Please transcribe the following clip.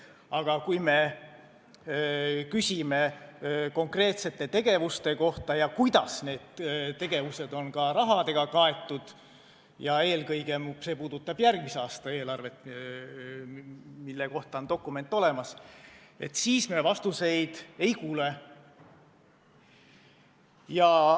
Aga kui me küsime konkreetsete tegevuste kohta ja selle kohta, kuidas need tegevused on rahaga kaetud – eelkõige puudutab see järgmise aasta eelarvet, mille kohta on dokument olemas –, siis me vastuseid ei kuule.